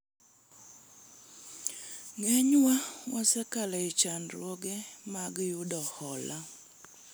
ng'enywa wasekalo e chandruoge mag yudo hola